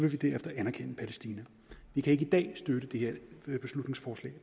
vi derefter anerkende palæstina vi kan ikke i dag støtte det beslutningsforslag